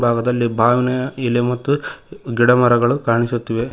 ಎಡ ಭಾಗದಲ್ಲಿ ಬಾವಿನ ಎಲೆ ಮತ್ತು ಗಿಡ ಮರಗಳು ಕಾಣಿಸುತ್ತಿವೆ.